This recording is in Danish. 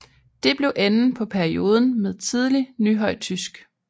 Det blev enden på perioden med tidlig nyhøjtysk